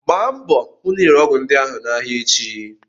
Gbaa mbọ hụ na ị rere ọgwụ ndị ahụ n'ahịa echi!